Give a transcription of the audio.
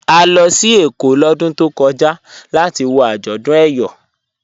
À lọ sí Ékó lódún tó kọja latí wọ ajọ́dún Eyọ.